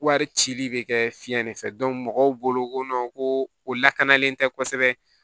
Wari cili bɛ kɛ fiɲɛ de fɛ mɔgɔw bolo ko ko o lakanalen tɛ kosɛbɛ